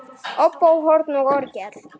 Óbó, horn og orgel.